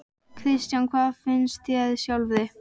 Kristján: Hvað finnst þér sjálfri?